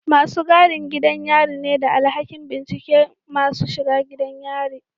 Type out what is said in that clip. Masu gadin gidan yari ne da alhakin binciken masu shiga gidan yari